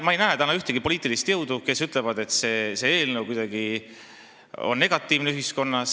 Ma ei näe täna ühtegi poliitilist jõudu, kes ütleks, et see eelnõu on kuidagi negatiivne.